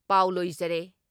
ꯄꯥꯎ ꯂꯣꯏꯖꯔꯦ